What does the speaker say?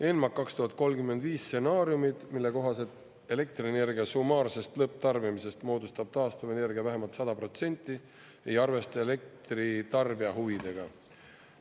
ENMAK 2035 stsenaariumid, mille kohaselt elektrienergia summaarsest lõpptarbimisest moodustab taastuvenergia vähemalt 100%, ei arvesta elektritarbija huvidega.